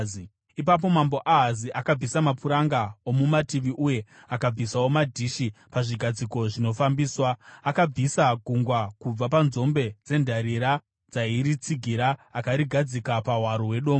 Ipapo mambo Ahazi akabvisa mapuranga omumativi uye akabvisawo madhishi pazvigadziko zvinofambiswa. Akabvisa Gungwa kubva panzombe dzendarira dzairitsigira akarigadzika pahwaro hwedombo.